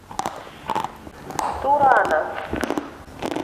турана